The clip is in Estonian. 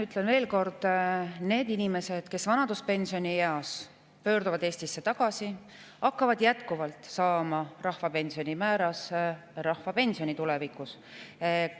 Ütlen veel kord: need inimesed, kes vanaduspensionieas pöörduvad Eestisse tagasi, hakkavad tulevikus jätkuvalt saama rahvapensioni määras pensioni.